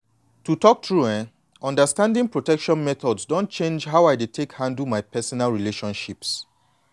to talk true eh understanding protection methods don change how i dey take handle my personal relationships.